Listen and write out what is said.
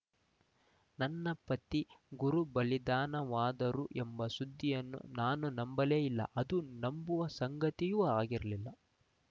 ನನ್ನ ಪತಿ ಗುರು ಬಲಿದಾನವಾದರು ಎಂಬ ಸುದ್ದಿಯನ್ನು ನಾನು ನಂಬಲೇ ಇಲ್ಲ ಅದು ನಂಬುವ ಸಂಗತಿಯೂ ಆಗಿರಲಿಲ್ಲ